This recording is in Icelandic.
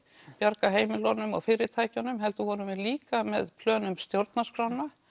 bjarga heimilunum og fyrirtækjunum heldur vorum við líka með plön um stjórnarskrána